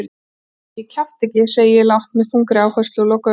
Ég kjafta ekki, segi ég lágt með þungri áherslu og loka augunum.